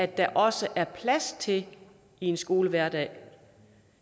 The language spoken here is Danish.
der også er plads til i en skolehverdag